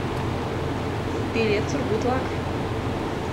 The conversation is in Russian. билет сургутлак